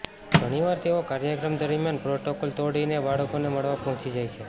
ઘણીવાર તેઓ કાર્યક્રમ દરમિયાન પ્રોટોકોલ તોડીને બાળકોને મળવા પહોંચી જાય છે